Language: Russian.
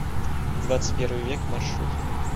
двадцатьпервый век маршрут